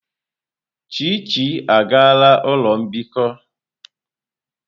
Chichi agala ulo mbikọ!